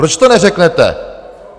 Proč to neřeknete?